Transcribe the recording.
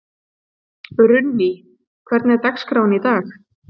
Runný, hvernig er dagskráin í dag?